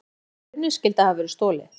Verst að kerrunni skyldi hafa verið stolið.